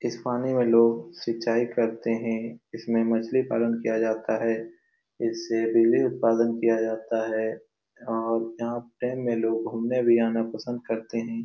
इस पानी में लोग सिंचाई करते हैं। इसमें मछली पालन किया जाता है। इससे डेयरी उत्पादन किया जाता है और यहाँ डेम में लोग घूमने भी आना पसंद करते हैं।